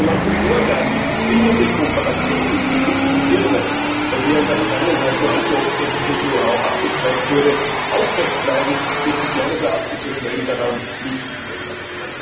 Und solange Vorgaben wie die zwingende Kooperation mit chinesischen Firmen, bei der in der Vergangenheit nur allzu oft technisches Know how abgezweigt wurde, aufrecht bleiben, wird sich meines Erachtens so schnell daran nichts ändern.